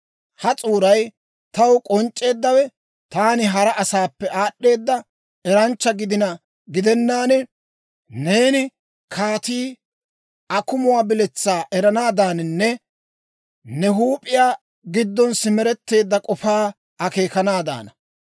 Ha s'uuray taw k'onc'c'eeddawe taani hara asaappe aad'd'eeda eranchcha gidina gidennaan, neeni kaatii akumuwaa biletsaa eranaadaananne ne huup'iyaa giddon simeretteedda k'ofaa akeekanaadaana.